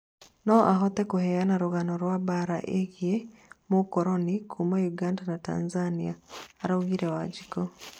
no ahote kũheana rũgano rwa mbara ĩgĩe mukoroni kuma Uganda na Tanzania," araugirĩ Wanjiku